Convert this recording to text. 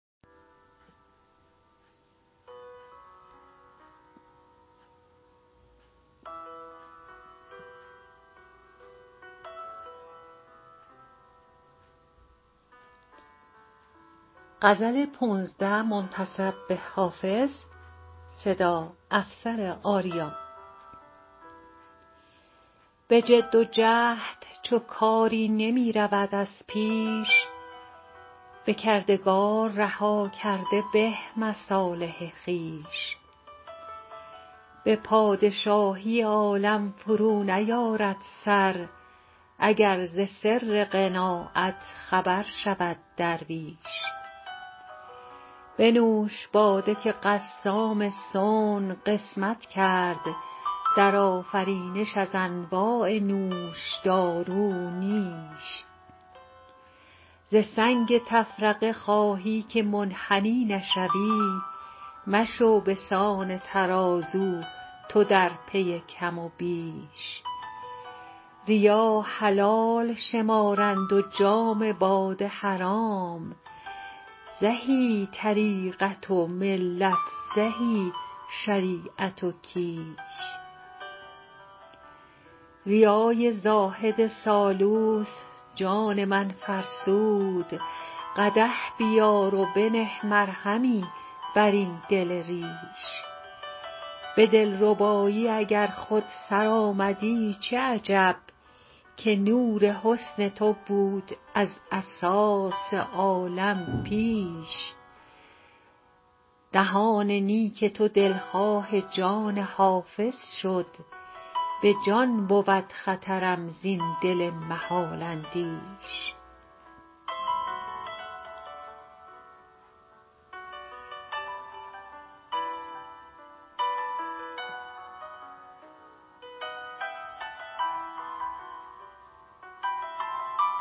به جد و جهد چو کاری نمی رود از پیش به کردگار رها کرده به مصالح خویش به پادشاهی عالم فرو نیارد سر اگر ز سر قناعت خبر شود درویش بنوش باده که قسام صنع قسمت کرد در آفرینش از انواع نوشدارو نیش ز سنگ تفرقه خواهی که منحنی نشوی مشو بسان ترازو تو در پی کم و بیش ریا حلال شمارند و جام باده حرام زهی طریقت و ملت زهی شریعت و کیش ریای زاهد سالوس جان من فرسود قدح بیار و بنه مرهمی بر این دل ریش به دلربایی اگر خود سرآمدی چه عجب که نور حسن تو بود از اساس عالم پیش دهان نیک تو دلخواه جان حافظ شد به جان بود خطرم زین دل محال اندیش